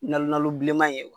Nka nalo bilenman ye.